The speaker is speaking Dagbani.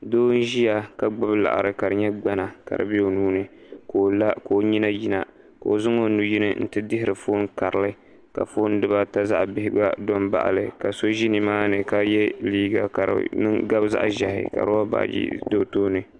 doo n ʒiya ka gbubi laɣari ka di nyɛ gbana ka di bɛ o nuuni ka o la ka o nyina yina ka o zaŋ o nuyini n ti dihiri foon karili ka foon dibata zaa bihi gba do n baɣali ka so ʒi nimaani ka yɛ liiga ka di gabi zaɣ ʒiɛhi ka roba baajo do o tooni